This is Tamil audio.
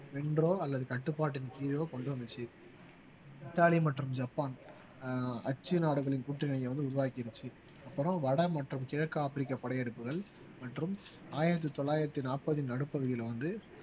வென்றோ அல்லது கட்டுப்பாட்டின் கீழோ கொண்டு வந்துச்சு இத்தாலி மற்றும் ஜப்பான் ஆஹ் அச்சு நாடுகளின் கூட்டணியை வந்து உருவாக்கிருச்சு அப்புறம் வட மற்றும் கிழக்கு ஆப்பிரிக்கா படையெடுப்புகள் மற்றும் ஆயிரத்து தொள்ளாயிரத்து நாற்பதின் நடுப்பகுதியில வந்து